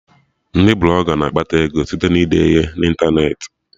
Ndị Blọga na-akpata ego site na ide ihe na ịntanetị